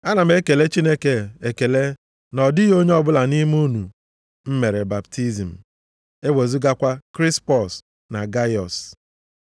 Ana m ekele Chineke ekele na ọ dịghị onye ọbụla nʼime unu m mere baptizim, ewezugakwa Krispọs na Gaiọs.